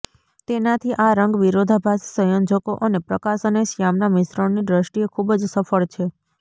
તેનાથી આ રંગ વિરોધાભાસી સંયોજકો અને પ્રકાશ અને શ્યામના મિશ્રણની દ્રષ્ટિએ ખૂબ જ સફળ છે